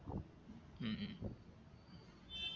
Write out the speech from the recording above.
ഉം